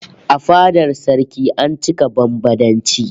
A fadar saraki an cika bambadanci